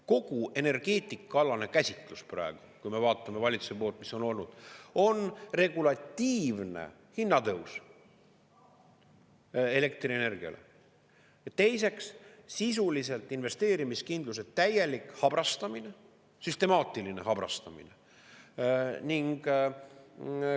Kogu energeetikaalane käsitlus praegu, kui me vaatame valitsuse poolt, mis on olnud, on regulatiivne hinnatõus elektrienergiale ja teiseks, sisuliselt investeerimiskindluse täielik habrastamine, süstemaatiline habrastamine.